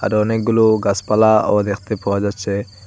অনেকগুলো গাছপালাও দেখতে পাওয়া যাচ্ছে।